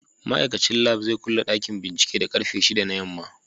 Ma'aikacin lab zai kulle dakin binciken da karfe 6 na yamma.